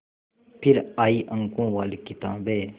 फिर आई अंकों वाली किताबें